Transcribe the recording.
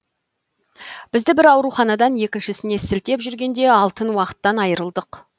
бізді бір ауруханадан екіншісіне сілтеп жүргенде алтын уақыттан айырылдық